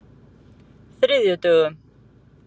þriðjudögum